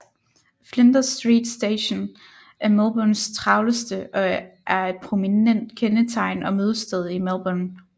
Flinders Street Station er Melbournes travleste og er et prominent kendetegn og mødested i Melbourne